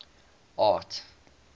art